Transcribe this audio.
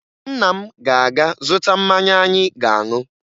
Nna m ga-aga zụta mmanya anyị ga-aṅụ